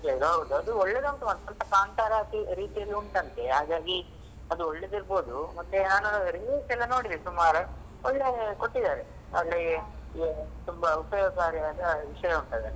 ಅದ್ ಹೌದು ಅದು ಒಳ್ಳೇದು ಉಂಟು ಮಾತ್ರ ಸ್ವಲ್ಪ ಕಾಂತಾರ ರೀತಿಯಲ್ಲಿ ಉಂಟಂತೆ ಹಾಗಾಗಿ ಅದು ಒಳ್ಳೇದು ಇರ್ಬೋದು ಮತ್ತೆ ನಾನ್ reels ಎಲ್ಲಾ ನೋಡಿದೆನೆ ಸುಮಾರು ಒಳ್ಳೆ ಕೊಟ್ಟಿದಾರೆ ಅದ್ರಲ್ಲಿ ತುಂಬಾ ಉಪಾಯೋಗಕಾರಿಯಾದ ವಿಷಯ ಉಂಟ್ ಅದ್ರಲ್ಲಿ.